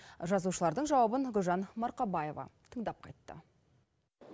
жазушылардың жауабын гүлжан марқабаева тыңдап қайтты